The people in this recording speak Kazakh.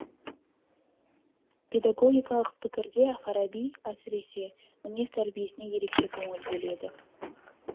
педагогикалық пікірде фараби әсіресе мінез тәрбиесіне ерекше көңіл бөледі